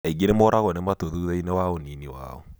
Aingĩ nĩ morago nĩ matũ thuthainĩ wa ũnini wao.